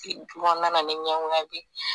nana ni ɲɔgɔnya